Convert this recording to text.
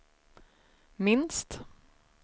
minst